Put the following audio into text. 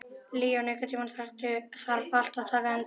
Leon, einhvern tímann þarf allt að taka enda.